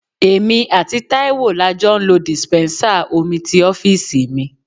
Èmi àti Taiwo la jọ ń lo dispensa omi ti ọ́fíìsì mi.